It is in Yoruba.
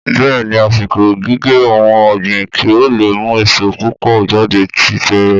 Bẹ́ẹ̀ni àsìkò gígé ohun ọ̀gbìn kí ó lè mú èso púpò jáde ti bẹ̀rẹ̀